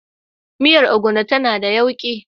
Miyar Ogbono tana da yauƙi.